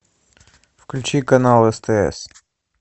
включи канал стс